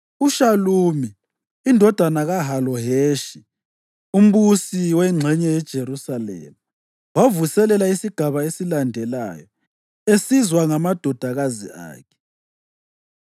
UShalumi indodana kaHaloheshi, umbusi wengxenye yeJerusalema, wavuselela isigaba esilandelayo esizwa ngamadodakazi akhe.